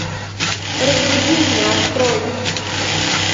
разбуди меня открой